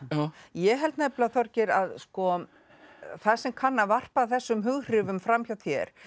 ég held nefnilega Þorgeir að það sem kann að varpa þessum hughrifum fram hjá þér